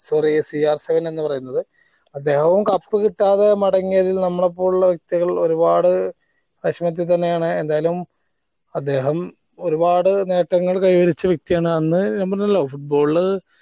sorry എന്ന് പറയുന്നത് അതെ ഓൻ cup കിട്ടാതെ മടങ്ങിയത് നമ്മളെ പോലുള്ള വ്യക്തികൾ ഒരുപാട് വേഷമിപ്പിക്കുന്നയാണ് എന്തായാലും അദ്ദേഹം ഒരുപാട് നേട്ടങ്ങൾ കൈവരിച്ച വ്യക്തിയാണ് അന്ന് ഞാൻ പറഞ്ഞല്ലോ football